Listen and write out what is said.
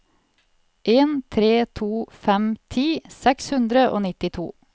en tre to fem ti seks hundre og nittito